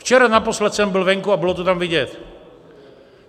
Včera naposled jsem byl venku a bylo to tam vidět.